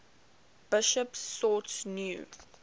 bishops sought new